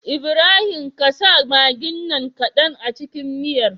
Ibrahim ƙasa maggin nan kadan a cikin miyar